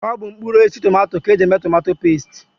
Ọ bụ mkpụrụosisi tomato ka e ji eme tomato pesti